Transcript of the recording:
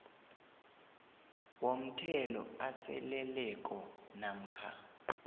womthelo aseleleko namkha